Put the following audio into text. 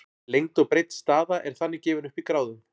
lengd og breidd staða er þannig gefin upp í gráðum